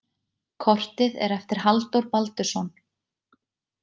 Kortið er eftir Halldór Baldursson.